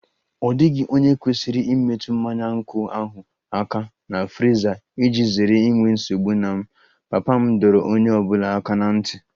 Ọ dịghị onye kwesịrị imetụ mmanya nkwụ ahụ aka na friza iji zere inwe nsogbu na m, papa m dọrọ onye ọ bụla aka ná ntị